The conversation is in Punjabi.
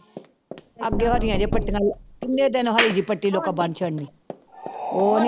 ਅੱਗੇ ਹਰੀਆਂ ਜਿਹੀਆਂ ਪੱਟੀਆਂ ਕਿੰਨੇ ਦਿਨ ਹਰੀ ਜਿਹੀ ਪੱਟੀ ਉਹ ਨੀ